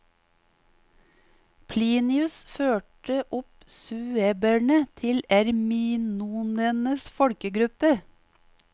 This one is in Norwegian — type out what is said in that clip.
Plinius førte opp sueberne til erminonenes folkegruppe.